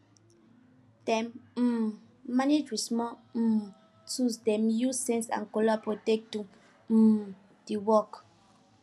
dem um manage with small um tools dem use sense and collabo take do um the work